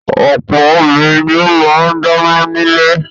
Ọ̀pọ̀ obìnrin ni ó máa ń dáná nílé.